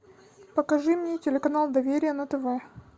покажи мне телеканал доверие на тв